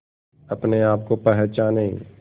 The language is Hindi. अपने आप को पहचाने